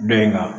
Dɔ in ka